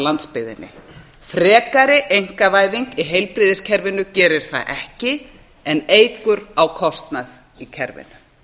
landsbyggðinni frekari einkavæðing í heilbrigðiskerfinu gerir það ekki en eykur á kostnað í kerfinu